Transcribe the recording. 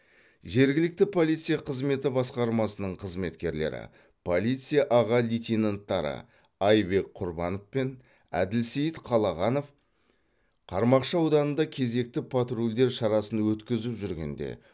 жергілікті полиция қызметі басқармасының қызметкерлері полиция аға лейтенанттары айбек құрбанов пен әділсейіт қалағанов қармақшы ауданында кезекті патрульдер шарасын өткізіп жүргенде